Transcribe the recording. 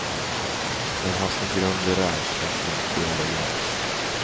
Den har sin grund i rädsla, inte i arrogans.